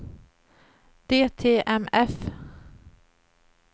DTMF